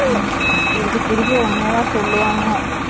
திருப்பி திருப்பி ஒன்னே தான் சொல்லுவாங்க